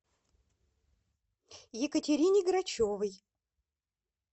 екатерине грачевой